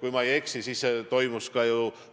Kui ma ei eksi, siis toimus ju ka